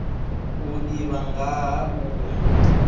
u ḓivha nga ha uri